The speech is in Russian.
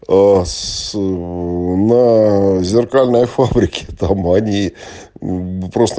аа сс аа на зеркальной фабрики там они просто